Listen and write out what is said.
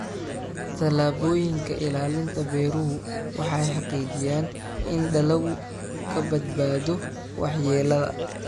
Tallaabooyinka ilaalinta beeruhu waxay xaqiijiyaan in dalaggu ka badbaado waxyeellada.